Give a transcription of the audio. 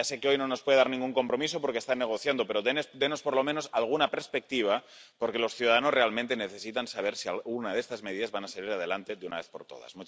Ya sé que hoy no nos puede dar ningún compromiso porque están negociando, pero denos, por lo menos, alguna perspectiva, porque los ciudadanos realmente necesitan saber si alguna de estas medidas va a salir adelante de una vez por todas.